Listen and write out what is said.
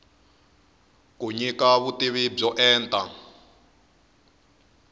yi nyika vutivi byo enta